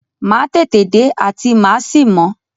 Màá tètè dé àti màá sì mọ́.